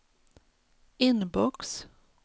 inbox